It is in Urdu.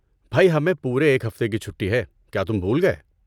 بھائی، ہمیں پورے ایک ہفتے کی چھٹی ہے، کیا تم بھول گئے؟